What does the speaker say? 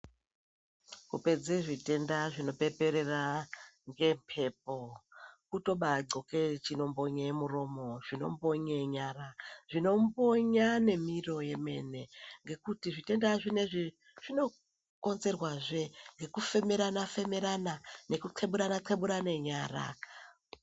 Kupedze zvitenda zvinopeperera ngemhepo kutobadhloke chinombonye muromo, zvinombonye nyara zvinombonya nemiro yemene ngekuti zvitenda zvinezvi zvinokonzerwazve nekufemerana-femerana nekutheburane nyara.